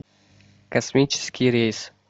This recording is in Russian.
космический рейс